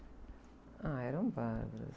Ah, eram bárbaras.